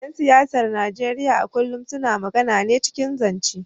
‘Yan siyasar Najeriya a kullum suna magana ne cikin zance.